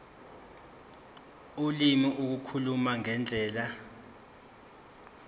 ulimi ukukhuluma ngendlela